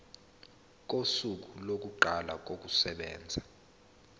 kosuku lokuqala kokusebenza